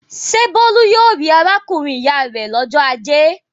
Ṣé Bólú yóò rí arákùnrin-ìyá rẹ̀ lọ́jọ́ ajé?